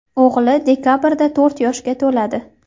O‘g‘li dekabrda to‘rt yoshga to‘ladi.